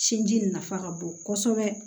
Sinji nafa ka bon kɔsɛbɛ